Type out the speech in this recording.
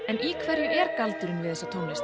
en í hverju er galdurinn við þessa tónlist